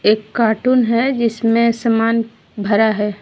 एक कार्टून है जिसमे सामान भरा है।